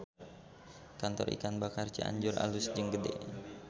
Kantor Ikan Bakar Cianjur alus jeung gede